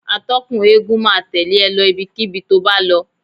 Atọ́kùn eégún máa tẹ̀lẹ́ e lọ ibikíbi tó bá lọ.